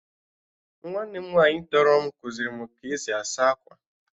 Nwanne m nwaanyị tọrọ m kuziri m ka-esi asa akwa